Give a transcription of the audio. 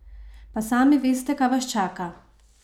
Pa sami veste, kaj vas čaka?